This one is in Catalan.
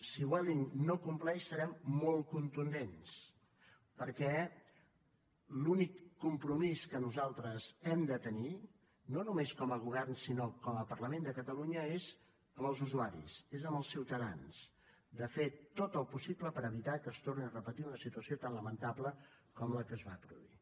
si vueling no compleix serem molt contundents perquè l’únic compromís que nosaltres hem de tenir no només com a govern sinó com a parlament de catalunya és amb els usuaris és amb els ciutadans de fer tot el possible per evitar que es torni a repetir una situació tan lamentable com la que es va produir